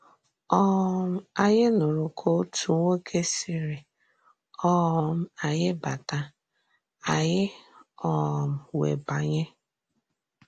um Ányị nùrù ka òtù nwòké sịrị um ányị bàtà, ányị um wéè bànyè.